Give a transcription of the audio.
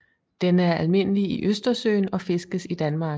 Den er almindelig i Østersøen og fiskes i Danmark